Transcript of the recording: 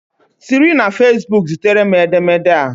Siri na fesbuku zitere m edemede a